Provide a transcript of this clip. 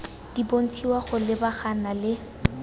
di bontshiwa go lebagana le